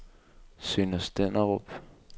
Sønder Stenderup